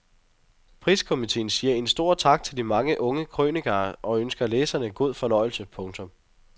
Priskomiteen siger en stor tak til de mange unge kronikører og ønsker læserne god fornøjelse. punktum